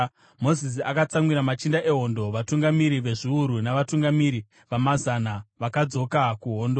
Mozisi akatsamwira machinda ehondo, vatungamiri vezviuru navatungamiri vamazana, vakadzoka kuhondo.